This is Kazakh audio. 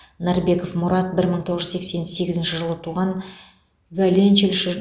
нарбеков мұрат бір мың тоғыз жүз сексен сегізінші жылы туған виоленчельші